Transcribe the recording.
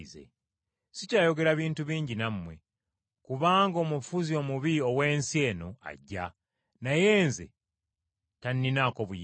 Sikyayogera bintu bingi nammwe, kubanga omufuzi omubi ow’ensi eno ajja. Naye Nze tanninaako buyinza.